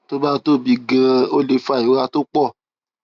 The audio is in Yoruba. tó bá tóbi ganan ó lè fa ìrora tó pọ